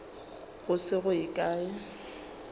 go se go ye kae